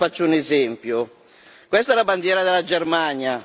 Allora le faccio un esempio questa è la bandiera della Germania